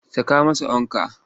Saka masa ankwa!